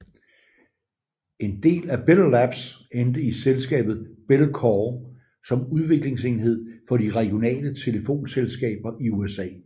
En del af Bell Labs endte i selskabet Bellcore som udviklingsenhed for de regionale telefonselskaber i USA